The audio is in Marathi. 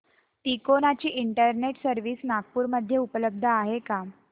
तिकोना ची इंटरनेट सर्व्हिस नागपूर मध्ये उपलब्ध आहे का